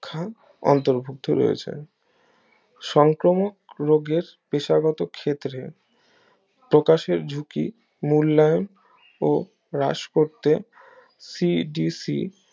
সুরক্ষা অন্তর্ভুক্ত রয়েছে সংক্রমক রোগের পেশাগত ক্ষেত্রে প্রকাশের ঝুঁকি মূল্যায়ন ও হ্রাস করতে cdc